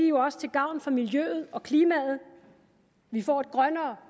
jo også til gavn for miljøet og klimaet vi får et grønnere